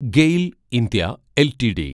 GAIL (India) LTD